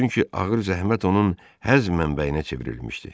Çünki ağır zəhmət onun həzm mənbəyinə çevrilmişdi.